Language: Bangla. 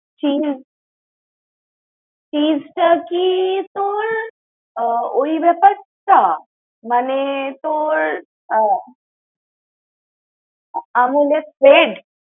cheese, cheese টা কি তোর ওই ব্যাপারটা? মানে তোর আহ Amul spread